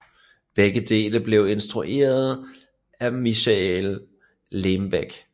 Begge dele blev instrueret af Michael Lembeck